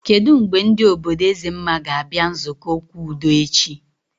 Kedụ mgbe ndị obodo Ezemma ga abịa nzukọ okwu udo echi?